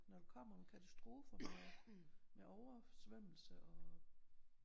Når der kommer nogle katastrofer med oversvømmelse og